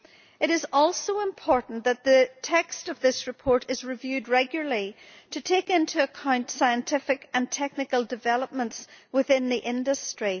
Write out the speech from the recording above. It is also important that the text of this report is reviewed regularly to take into account scientific and technical developments within the industry.